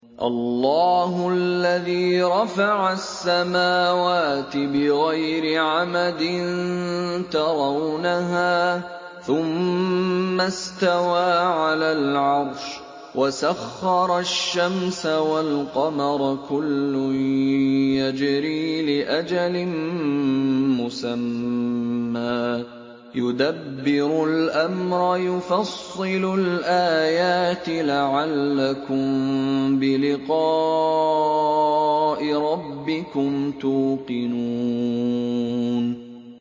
اللَّهُ الَّذِي رَفَعَ السَّمَاوَاتِ بِغَيْرِ عَمَدٍ تَرَوْنَهَا ۖ ثُمَّ اسْتَوَىٰ عَلَى الْعَرْشِ ۖ وَسَخَّرَ الشَّمْسَ وَالْقَمَرَ ۖ كُلٌّ يَجْرِي لِأَجَلٍ مُّسَمًّى ۚ يُدَبِّرُ الْأَمْرَ يُفَصِّلُ الْآيَاتِ لَعَلَّكُم بِلِقَاءِ رَبِّكُمْ تُوقِنُونَ